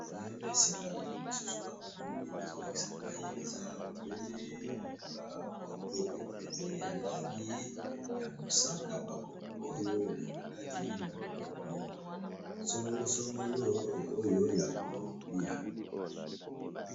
Na esika tokomi lisusu awa namoni bazo lakisa ngai eza obele ba kopo ebele ya langi ya mosaka, ba kopo oyo eza na kati ba biloko songolo songolo oyo ya kolia.